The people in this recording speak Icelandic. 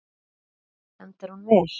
Gunnar Atli: Endar hún vel?